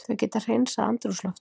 Þau geta hreinsað andrúmsloftið.